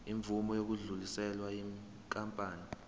imvume yokudluliselwa yinkampani